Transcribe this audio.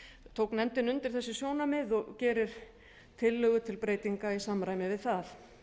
tók nefndin undir þessi sjónarmið og gerir tillögu til breytinga í samræmi við það